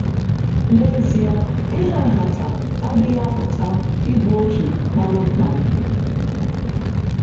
N’ezie, ịha nhata adịghị apụta ịbụ otu kpam kpam.